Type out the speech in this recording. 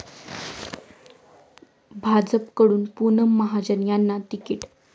भाजपकडून पूनम महाजन यांना तिकीट